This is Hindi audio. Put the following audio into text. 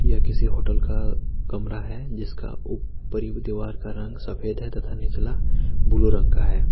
यह किसी होटल का कमरा है जिसका ऊपरी दीवार का रंग सफेद है तथा निचला ब्लू रंग का है।